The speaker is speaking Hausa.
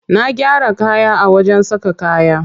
Na gyara kaya a wajen saka kaya.